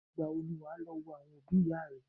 Ìgbà wo ni wà á lọ wo àwọn òbí ìyá rẹ̀?